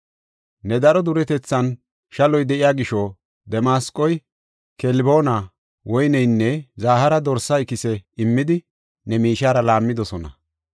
Ne daro duretethinne shalloy de7iya gisho, Damasqoy, Kelboona, woyniyanne zahaara dorsa ikise immidi ne miishiyara laammidosona.